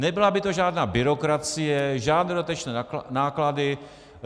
Nebyla by to žádná byrokracie, žádné dodatečné náklady.